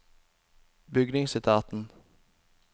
bygningsetaten